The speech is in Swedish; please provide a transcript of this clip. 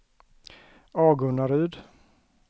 Agunnaryd